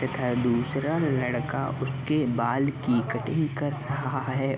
तथा दूसरा लड़का उसके बाल की कटिंग कर रहा है।